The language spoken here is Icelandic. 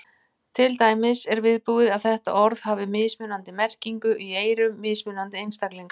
Til dæmis er viðbúið að þetta orð hafi mismunandi merkingu í eyrum mismunandi einstaklinga.